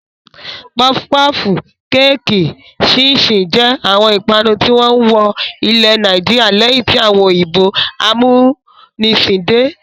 Pọfu pọfù, kéékì, ṣíín-ṣiìn jẹ́ àwọn ìpanu tí wọ́n wọ ilẹ̀ Nàìjíríà lẹ́yìn tí àwọn òyìnbó amúnisìn dé.